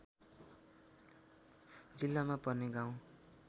जिल्लामा पर्ने गाउँ